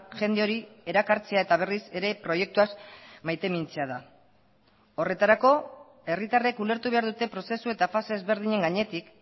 jende hori erakartzea eta berriz ere proiektuaz maitemintzea da horretarako herritarrek ulertu behar dute prozesu eta fase ezberdinen gainetik